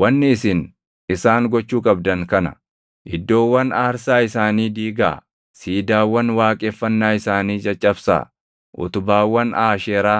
Wanni isin isaan gochuu qabdan kana: iddoowwan aarsaa isaanii diigaa; siidaawwan waaqeffannaa isaanii caccabsaa; utubaawwan Aasheeraa